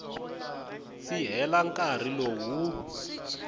si hela nkarhi lowu wu